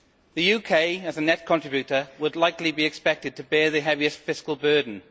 The UK, as a net contributor, would likely be expected to bear the heaviest fiscal burden.